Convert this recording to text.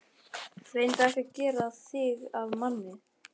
Reyndu ekki að gera þig að manni.